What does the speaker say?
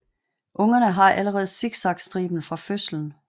Ungerne har allerede zigzagstriben fra fødslen